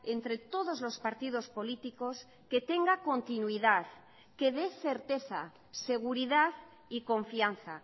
entre todos los partidos políticos que tenga continuidad que dé certeza seguridad y confianza